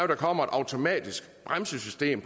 der kommer et automatisk bremsesystem